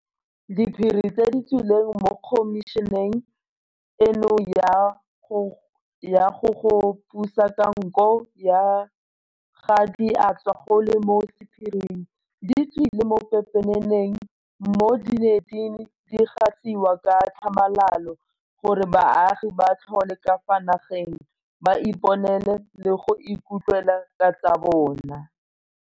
Diphiri tse di tswileng mo khomišeneng eno ya go goga puso ka nko ga di a tswa go le mo sephiring, di tswile mo pepeneneng mo di neng di gasiwa ka tlhamalalo gore baagi botlhe ka fa nageng ba iponele le go ikutlwela ka tsa bona.